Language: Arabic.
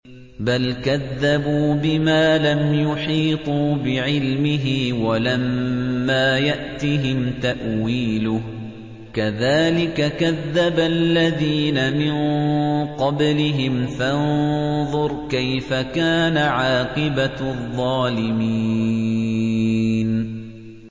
بَلْ كَذَّبُوا بِمَا لَمْ يُحِيطُوا بِعِلْمِهِ وَلَمَّا يَأْتِهِمْ تَأْوِيلُهُ ۚ كَذَٰلِكَ كَذَّبَ الَّذِينَ مِن قَبْلِهِمْ ۖ فَانظُرْ كَيْفَ كَانَ عَاقِبَةُ الظَّالِمِينَ